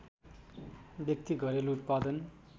व्यक्ति घरेलु उत्पादन